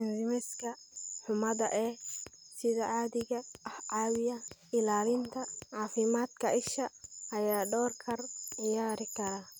Enzymes-ka xumaada ee sida caadiga ah caawiya ilaalinta caafimaadka isha ayaa door ka ciyaari kara.